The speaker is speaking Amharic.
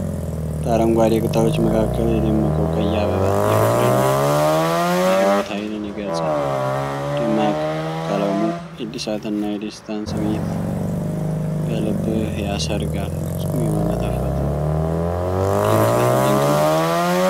በአረንጓዴ ቅጠሎች መካከል የደመቀው ቀይ አበባ የፍቅርና የሕይወት ኃይልን ይገልጻል። ደማቁ ቀለሙ የእድሳትና የደስታን ስሜት በልብህ ያሰርጋል። ፍፁም የሆነ የተፈጥሮ ድንቅነት!